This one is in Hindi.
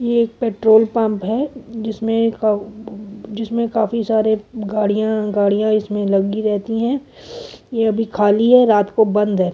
ये एक पेट्रोल पम्प है जिसमे का जिसमे काफी सारे गाड़िया गाड़िया इसमें लगी रहती है ये अभी खाली है रात को बंद है।